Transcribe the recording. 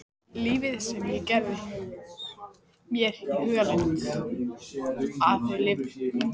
Lífið sem ég gerði mér í hugarlund að þau lifðu.